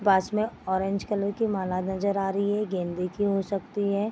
पास में orange colour की माला नजर आ रही है गेंदे की हो सकती है।